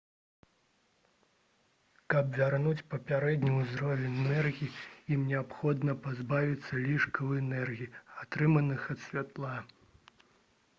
каб вярнуць папярэдні ўзровень энергіі ім неабходна пазбавіцца лішкаў энергіі атрыманых ад святла